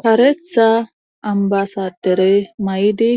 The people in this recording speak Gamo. Karetha ambasadere may7idi